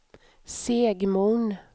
Segmon